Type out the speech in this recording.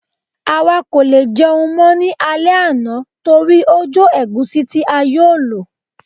àwa kò lè jẹun mọ́ ní alẹ́ àná torí ó jo egusi ti a yóò lò